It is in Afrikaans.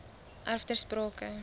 erf ter sprake